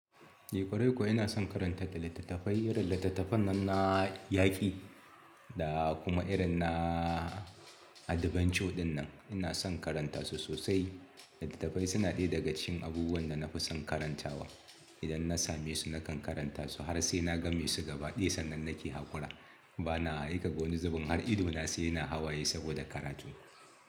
Ni kwarai kuwa ina son karanta littattafai, irin littattafan nan na yaƙi da kuma irin na adventure dinnan ina son karanta su sosai. Littattafai suna ɗaya daga cikin abubuwan da na fi son karantawa. Idan na same su nakan karanta su har sai na game su gaba, ɗiya sannan nake haƙura. Bana aika wani zubin har idona sai yana hawaye saboda karatu.